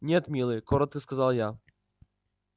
нет милый кротко сказала я